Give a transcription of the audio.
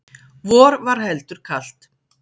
vor var heldur kalt